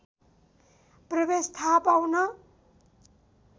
प्रवेश थाहा पाउन